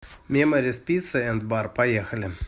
меморис пицца энд бар поехали